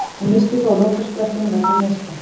Hann missti þó af lokasprettinum vegna meiðsla.